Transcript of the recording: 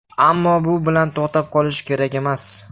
Ammo bu bilan to‘xtab qolish kerak emas.